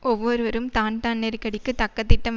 ஒவ்வொருவரும் தான்தான் நெருக்கடிக்கு தக்க திட்டம்